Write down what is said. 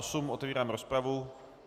Otevírám rozpravu.